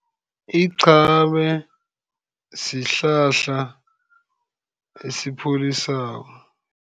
Iqhame sihlahla esipholisako.